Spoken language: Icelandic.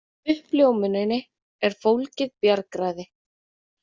Í uppljómuninni er fólgið bjargræði.